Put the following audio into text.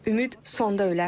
Ümid sonda ölər.